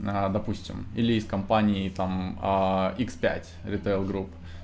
допустим или из компании там икс пять ритейл групп